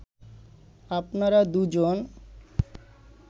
আপনারা দুজন